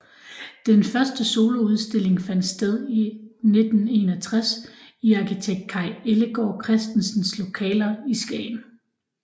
Den første soloudstilling fandt sted i 1961 i arkitekt Kaj Ellegaard Christensens lokaler i Skagen